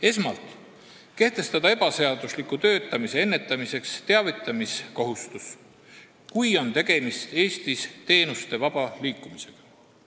Esmalt pannakse ette kehtestada ebaseadusliku töötamise ennetamiseks teavitamiskohustus, kui on tegemist Eestis töötamisega teenuste vaba liikumise korral.